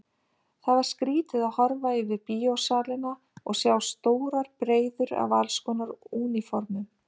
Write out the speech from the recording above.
Það var skrýtið að horfa yfir bíósalina og sjá stórar breiður af allskonar úniformum.